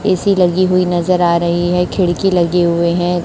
AC लगी हुई नजर आ रही हैं खिड़की लगे हुए हैं।